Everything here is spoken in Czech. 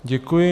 Děkuji.